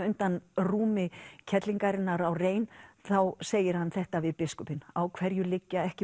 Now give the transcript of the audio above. undan rúmi kerlingarinnar á rein þá segir hann þetta við biskupinn á hverju liggja ekki